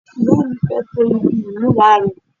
ìyá mi fẹ́ to ibi ìmúra rẹ̀